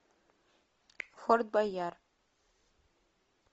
форт боярд